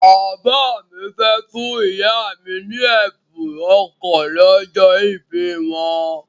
Bàbá mi fẹ́ fún ìyá mi ní ẹ̀bùn ọkọ̀ lọ́jọ́ ìbí wọn.